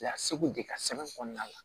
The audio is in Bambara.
Laseg'u de ka sɛbɛn kɔnɔna la